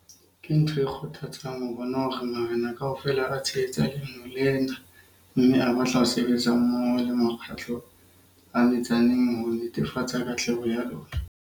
Ke ntho e kgothatsang ho bona hore marena kaofela a tshehetsa leano lena mme a batla ho sebetsa mmoho le makgotla a metsaneng ho netefatsa katleho ya lona.